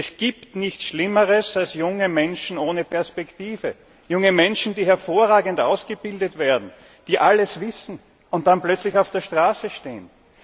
Es gibt nichts Schlimmeres als junge Menschen ohne Perspektive, junge Menschen, die hervorragend ausgebildet werden, die alles wissen und dann plötzlich auf der Straße stehen.